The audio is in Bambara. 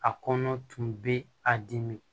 A kɔnɔ tun bɛ a dimi